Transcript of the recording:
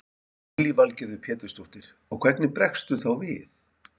Lillý Valgerður Pétursdóttir: Og hvernig bregstu þá við?